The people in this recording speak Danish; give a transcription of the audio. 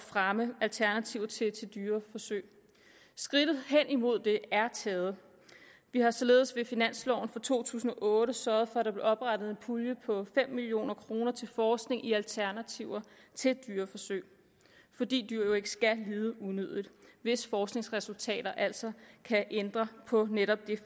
fremme alternativer til dyreforsøg skridtet hen imod det er taget vi har således i finansloven for to tusind og otte sørget for at der blev oprettet en pulje på fem million kroner til forskning i alternativer til dyreforsøg fordi dyr jo ikke skal lide unødigt hvis forskningsresultater altså kan ændre på netop det